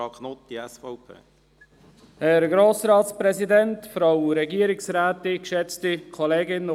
Das Wort hat Grossrat Knutti von der SVP.